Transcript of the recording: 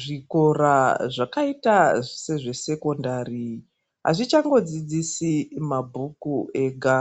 Zvikora zvakaita sezvesekondari, azvichangodzidzisi mabhuku ega.